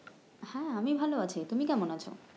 হ্যাঁ আমি ভাল আছি, তুমি কেমন আছো?